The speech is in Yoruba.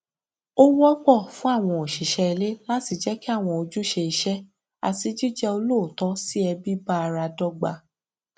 ó wọpọ fún àwọn òṣìṣẹ ilé láti jẹ kí àwọn ojúṣe iṣẹ àti jíjẹ olóòótọ sí ẹbí bá ara dọgba